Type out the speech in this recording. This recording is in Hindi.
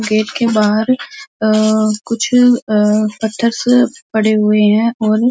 गेट के बाहर अअ कुछ अ पत्थर से पड़े हुए हैं और --